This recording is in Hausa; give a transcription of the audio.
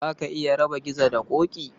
Za ka iya raba Gizo da Ƙoƙi?